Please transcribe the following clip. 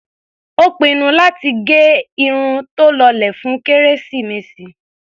Ó pinnu láti gẹ irun tó lọlẹ̀ fún kérésìmesì.